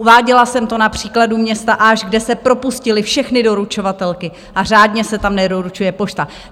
Uváděla jsem to na příkladu města Aš, kde se propustily všechny doručovatelky a řádně se tam nedoručuje pošta.